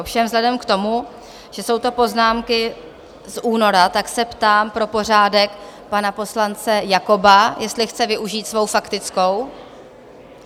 Ovšem vzhledem k tomu, že jsou to poznámky z února, tak se ptám pro pořádek pana poslance Jakoba, jestli chce využít svou faktickou?